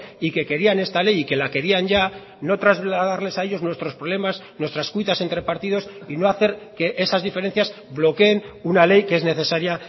y que querían esta ley y que la querían ya no trasladarles a ellos nuestros problemas nuestras cuitas entre partidos y no hacer que esas diferencias bloqueen una ley que es necesaria